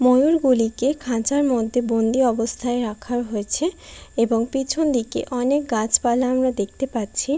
ময়ূর গুলিকে খাঁচার মধ্যে বন্দি অবস্থায় রাখা হয়েছে এবং পেছনদিকে অনেক গাছপালা আমরা দেখতে পাচ্ছি ।